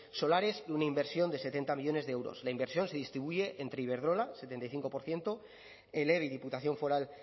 solares una inversión de setenta millónes de euros la inversión se distribuye entre iberdrola setenta y cinco por ciento el eve y diputación foral